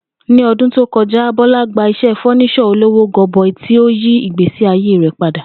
Ní o̩dún tó ko̩já, Bó̩lá gba is̩é̩ fó̩nís̩ò̩ olówó go̩bo̩i tí ó yí ìgbésí ayé rè̩ padà